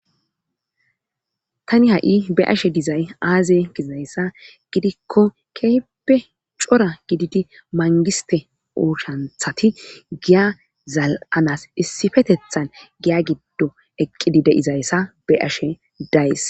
tani ha7i be ashe dizay aaze gizayssa gidikko kehpe cora gididi mangiste uushanthati giya zal7anas issifetethan giya giddo eqqidi de7izayssa be ashe days